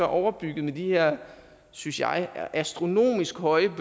overbygget med de her synes jeg astronomisk høje